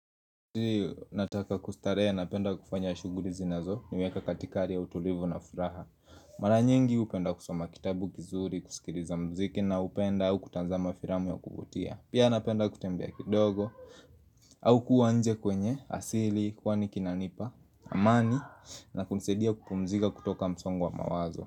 Nataka kustarehe napenda kufanya shuguli zinazoniweka katika hari ya utulivu na furaha Mara nyingi hupenda kusoma kitabu kizuri, kusikiliza mziki naupenda au kutazama firamu ya kuvutia. Pia napenda kutembea kidogo au kuwa nje kwenye asili, kwani kinanipa, amani na kunisaidia kupumzika kutoka msongo wa mawazo.